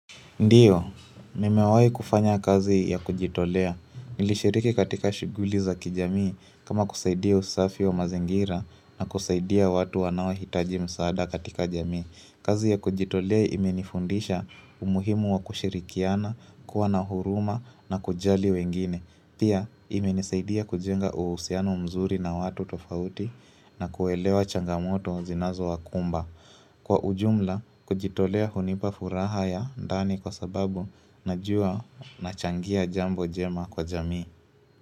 Ndiyo, mimewai kufanya kazi ya kujitolea. Nilishiriki katika shuguli za kijamii kama kusaidia usafi wa mazingira na kusaidia watu wanaohitaji msaada katika jamii. Kazi ya kujitolea imenifundisha umuhimu wa kushirikiana, kuwa na huruma, na kujali wengine. Pia, imenisaidia kujenga uhusiano mzuri na watu tofauti, na kuelewa changamoto zinazo wakumba. Kwa ujumla, kujitolea hunipa furaha ya ndani kwa sababu najua nachangia jambo jema kwa jamii.